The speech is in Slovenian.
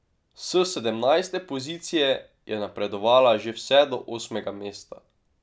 S sedemnajste pozicije je napredovala že vse do osmega mesta.